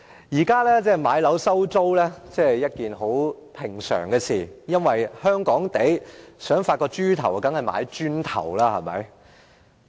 現時買樓收租是十分平常的事情，如果香港人想發達，當然要買"磚頭"。